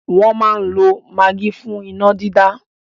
Wọ́n máa n lo magí fún iná dídá